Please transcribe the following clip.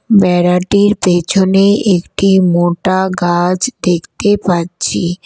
বেড়াটির পেছনে একটি মোটা গাছ দেখতে পাচ্ছি।